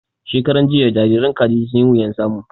Shekaran jiya jariran Kaji sun yi wuyan samu